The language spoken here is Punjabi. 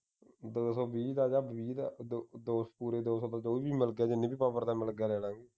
ਦੋ ਸੌ ਵੀਹ ਦਾ ਆਂ ਵੀਹ ਦਾ ਦੋ ਦੋ ਪੂਰੇ ਦੋ ਸੌ ਵੀਹ ਦਾ ਜੋ ਵੀ ਮਿਲ ਗਿਆ ਹੈ ਜਿੰਨੀ ਵੀ power ਦਾ ਮਿਲ ਗਿਆ ਲੈ ਲਵਾਂਗੇ